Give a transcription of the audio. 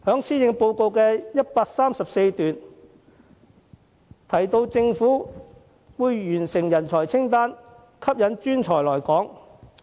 施政報告第134段提到，政府會完成制訂人才清單，吸引專才來港。